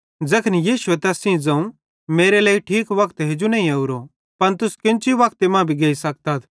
तैखन यीशुए तैन सेइं ज़ोवं मेरो लेइ ठीक वक्त हेजू नईं ओरो पन तुस केन्ची वक्त मां भी गेइ सकतथ